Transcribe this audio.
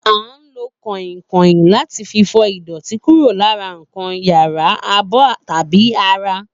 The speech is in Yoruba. A ń lò kò̩ìnkò̩ìn láti fi fo̩ ìdò̩tí kúrò lára nǹkan yálà, abó̩ tàbí ara